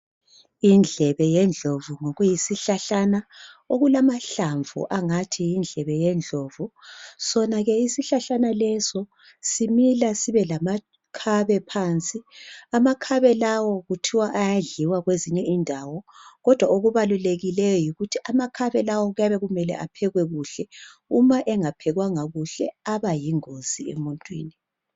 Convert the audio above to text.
Indlebe yendlovu ngokuyisihlahlana okulamahlamvu angathi yindlebe yendlovu. Sona ke isihlahlana leso, simila sibe lamakhabe phansi. Amakhabe lawo kuthiwa ayadliwa kwezinye indawo, kodwa okubalulekileyo yikuthi amakhabe lawo kuyabe kumele aphekwe kuhle. Uma engaphekwanga kuhle abayingozi emuntwini.